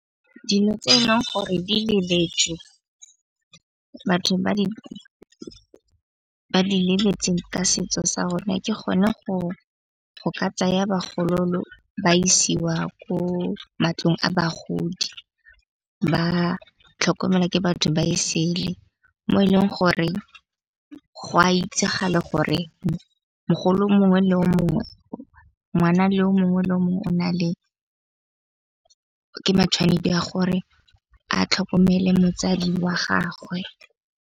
Dilo tse e leng gore di leletswe batho ba di lebetse ka setso sa rona. Ke gona go ka tsaya bagololo ba isiwa ko matlong a bagodi. Ba tlhokomelwa ke batho ba e sele mo e leng gore go a itsagale gore mogolo mongwe le o mongwe, ngwana le o mongwe le mongwe o na le ke ya gore a tlhokomele motsadi wa gagwe.